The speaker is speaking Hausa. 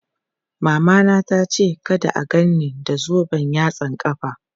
Mamana tace kada a gan ni da zoben yatsan ƙafa.